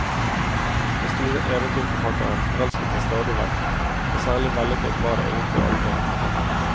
Den store eventyrforfatteren forelsket seg stadig vekk, men særlig vellykket var det egentlig aldri.